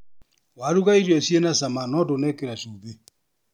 Waruga irio ciĩ na cama no ndũnekĩra cumbĩ.